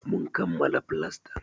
Mun kammala flastan.